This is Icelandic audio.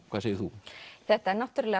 hvað segir þú þetta er náttúrulega